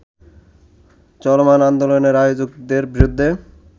চলমান আন্দোলনের আয়োজকদের বিরুদ্ধে